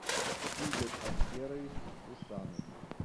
игорь аскерович хусанов